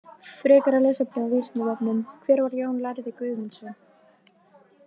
Frekara lesefni á Vísindavefnum: Hver var Jón lærði Guðmundsson?